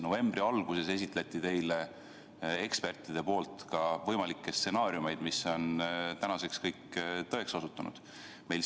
Novembri alguses esitlesid eksperdid teile ka võimalikke stsenaariume, mis on tänaseks kõik tõeks osutunud.